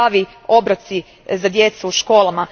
zdravi obroci za djecu u školama.